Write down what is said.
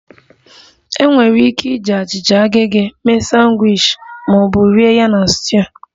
Enwere ike iji achịcha agege mee sandwiches ma ọ bụ rie ya na stew